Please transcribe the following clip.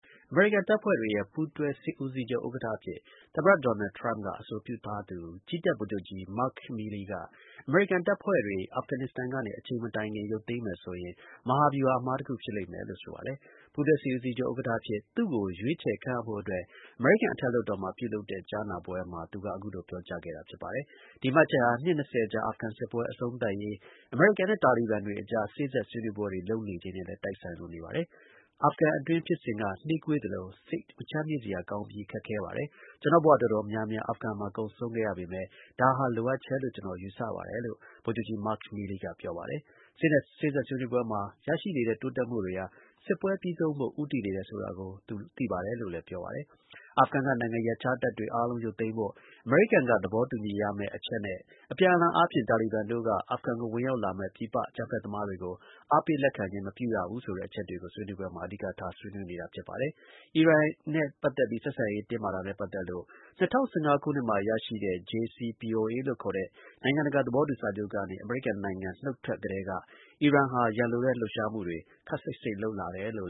အမေရိကန်တပ်ဖွဲ့တွေရဲ့ ပူးတွဲ စစ်ဦးစီးချုပ် ဥက္ကဌအဖြစ် သမ္မတ ဒေါ်နယ်ထရမ့်က အဆိုပြုထားသူ ကြည်းတပ် ဗိုလ်ချုပ်ကြီး Mark Milley က အမေရိကန်တပ်ဖွဲ့တွေကို အာဖဂန် နစ္စတန်ကနေ အချိန်မတိုင်ခင် ရုပ်သိမ်းမယ်ဆိုရင် မဟာဗျူဟာ အမှားတစ်ခု ဖြစ်လိမ့်မယ်လို့ ဆိုပါတယ်။ ပူးတွဲ စစ်ဦးစီးချုပ် ဥက္ကဌ အဖြစ် သူ့ကို ရွေးချယ် ခန့်အပ်ဖို့အတွက် အမေရိကန် အထက်လွှတ်တော်မှာ ပြုလုပ်တဲ့ ကြားနာပွဲမှာ သူက အခုလို ပြောကြားခဲ့တာ ဖြစ်ပါတယ်။ ဒီမှတ်ချက်ဟာ နှစ်၂၀ ကြာ အာဖဂန် စစ်ပွဲ အဆုံးသတ်ရေး အမေရိကန်နဲ့ တာလီဘန် တွေအကြား စေ့စပ်ဆွေးနွေးပွဲတွေ လုပ်နေချိန်နဲ့လည်း တိုက်ဆိုင်လို့နေပါတယ်။ “အာဖဂန်အတွင်း ဖြစ်စဉ်က နှေးကွေးသလို စိတ် မချမ်းမြေ့စရာကောင်းပြီး ခက်ခဲပါတယ်။ ကျွန်တော့် ဘ၀ တော်တော်များများ အာဖဂန်မှာ ကုန်ဆုံးခဲ့ရပေမဲ့ ဒါကို လိုအပ်တယ်လို့ ကျွန်တော် ယူဆပါတယ်လို့” ဗိုလ်ချုပ်ကြီး Mark Milley က ပြောပါတယ်။ စေ့စပ် ဆွေးနွေးပွဲမှာ ရရှိနေတဲ့ တိုးတက်မှုတွေဟာ စစ်ပွဲ ပြီးဆုံးဖို့ ဦးတည်နေတယ်ဆိုတာကို သူ သိပါတယ်လို့လည်း ပြောပါတယ်။ အာဖဂန်က နိုင်ငံရပ်ခြားတပ်တွေအားလုံး ရုပ်သိမ်းဖို့ အမေရိကန်က သဘောတူညီရမယ့် အချက်နဲ့ အပြန်အလှန်အားဖြင့် တာလီဘန်တို့က အာဖဂန်ကို ဝင်ရောက်လာတဲ့ ပြည်ပ အကြမ်းဖက် သမားတွေကို အားပေးလက်ခံခြင်း မပြုရဘူးဆိုတဲ့ အချက်တွေကို ဆွေးနွေးပွဲမှာ အဓိကထား ဆွေးနွေးနေတာ ဖြစ်ပါတယ်။ အီရန်နဲ့ ပတ်သက်ပြီး ၂၀၁၅ ခုနှစ်မှာ ရရှိခဲ့တဲ့ JCPOA လို့ခေါ်တဲ့ နိုင်ငံတကာ သဘောတူ စာချုပ်ကနေ အမေရိကန်နိုင်ငံ နုတ်ထွက် ကတည်းက အီရန်ဟာ ရန်လိုတဲ့ လှုပ်ရှားမှုတွေ ခပ်စိပ်စိပ် လုပ်လာတယ်လို့